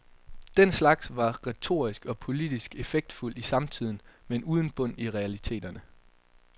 Den slags var retorisk og politisk effektfuldt i samtiden, men uden bund i realiteterne.